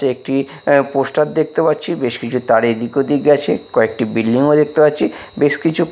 তে একটি এ পোস্টার দেখতে পাচ্ছি বেশ কিছু তার এদিক ওদিক গেছে কয়েকটি বিল্ডিং ও দেখতে পাচ্ছি বেশ কিছু --